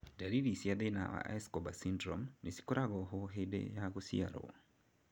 Ndariri cia thĩna wa Escobar syndrome nĩcikoragwo ho hĩndĩ ya gũciarwo